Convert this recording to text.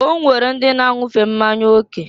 O nwere ndị na-anwufe mmanya oke.